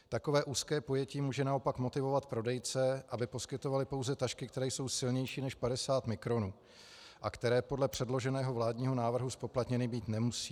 Takové úzké pojetí může naopak motivovat prodejce, aby poskytovali pouze tašky, které jsou silnější než 50 mikronů a které podle předloženého vládního návrhu zpoplatněny být nemusí.